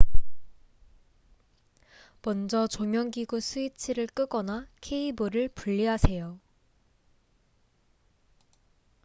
먼저 조명기구 스위치를 끄거나 케이블을 분리하세요